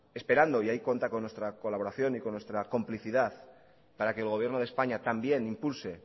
esperando y ahí cuenta con nuestra colaboración y con nuestra complicidad para que el gobierno de españa también impulse